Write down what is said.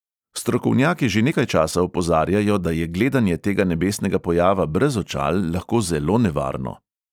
Strokovnjaki že nekaj časa opozarjajo, da je gledanje tega nebesnega pojava brez očal lahko zelo nevarno.